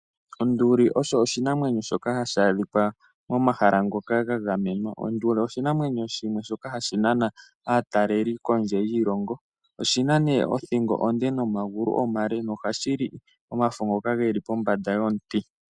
Onduli osho oshinamwenyo shoka hashi adhika momahala ngoka ga gamenwa. Onduli oshinamwenyo shimwe hashi nana aatelelipo kondje yiilongo. Oshi na othingo onde nomagulu omale. Ohashi li omafo ngoka ge li pombanda yomiti.